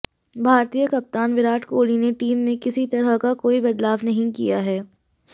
भारतीय कप्तान विराट कोहली ने टीम में किसी तरह का कोई बदलाव नहीं किया है